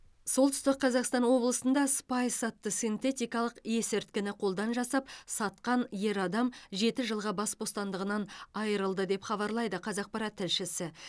солтүстік қазақстан облысында спайс атты синтетикалық есірткіні қолдан жасап сатқан ер адам жеті жылға бас бостандығынан айырылды деп хабарлайды қазақпарат тілшісі